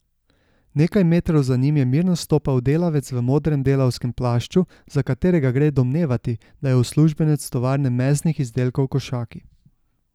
Nekaj metrov za njim je mirno stopal delavec v modrem delovnem plašču, za katerega gre domnevati, da je uslužbenec Tovarne mesnih izdelkov Košaki.